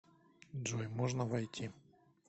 джой можно войти